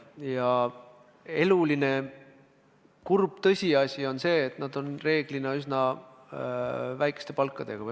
Ja eluline kurb tõsiasi on see, et nad reeglina saavad üsna väikest palka.